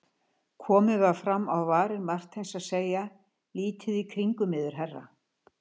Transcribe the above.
Komið var fram á varir Marteins að segja: lítið í kringum yður herra.